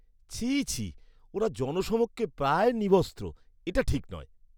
ছিঃ ছিঃ! ওঁরা জনসমক্ষে প্রায় নিবস্ত্র। এটা ঠিক নয়।